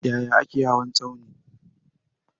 Yaya ake hawa tsauni?